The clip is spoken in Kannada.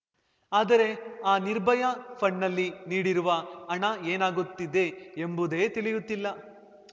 ಆದರೆ ಆ ನಿರ್ಭಯಾ ಫಂಡ್‍ನಲ್ಲಿ ನೀಡಿರುವ ಹಣ ಏನಾಗುತ್ತಿದೆ ಎಂಬುದೇ ತಿಳಿಯುತ್ತಿಲ್ಲ